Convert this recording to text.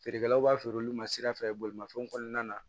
Feerekɛlaw b'a feere olu ma sira fɛ bolimafɛn kɔnɔna na